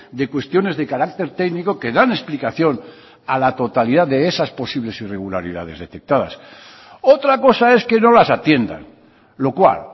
de cuestiones de carácter técnico que dan explicación a la totalidad de esas posibles irregularidades detectadas otra cosa es que no las atiendan lo cual